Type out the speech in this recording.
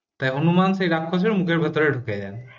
তা হনুমান সেই রাক্ষসের মুখের ভেতরে ঢুকে যান